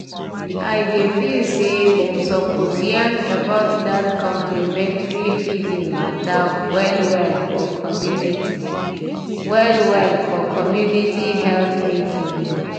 i dey feel say dem suppose yarn about dat complementary feeding mata well-well for community well-well for community health meetings o.